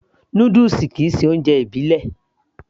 Noodles kìí ṣe oúnjẹ ìbílẹ̀